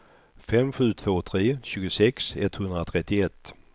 fem sju två tre tjugosex etthundratrettioett